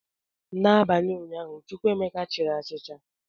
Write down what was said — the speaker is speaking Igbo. N'abalị ụnyaahụ, Chukwuemeka chiri achịcha.